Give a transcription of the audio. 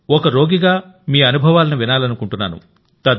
ఒక రోగిగామీ అనుభవాలను వినాలనుకుంటున్నాను